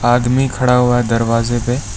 आदमी खड़ा हुआ है दरवाजे पे।